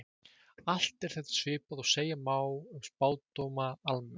Allt er þetta svipað og segja má um spádóma almennt.